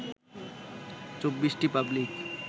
২৪টি public